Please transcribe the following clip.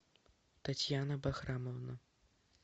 татьяна бахрамовна